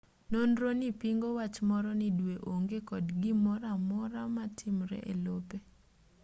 nonronii pingo wach moro ni dwe onge kod gimoroamora matimre elope